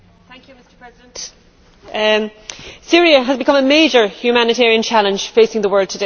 Mr President, Syria has become a major humanitarian challenge facing the world today.